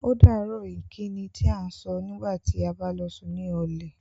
Ódàárọ̀ ìkíni tí à sọ̀ nígbàtí à bá lọ sùn ní ọlẹ̀.